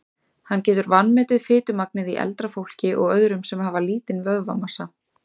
Hann getur vanmetið fitumagnið í eldra fólki og öðrum sem hafa lítinn vöðvamassa.